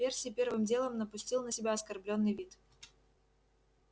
перси первым делом напустил на себя оскорблённый вид